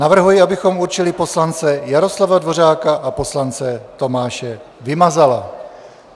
Navrhuji, abychom určili poslance Jaroslava Dvořáka a poslance Tomáše Vymazala.